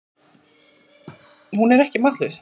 Hún er ekki máttlaus.